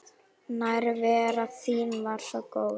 Nærvera þín var svo góð.